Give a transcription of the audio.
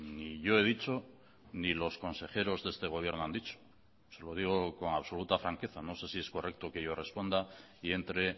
ni yo he dicho ni los consejeros de este gobierno han dicho se lo digo con absoluta franqueza no sé si es correcto que yo responda y entre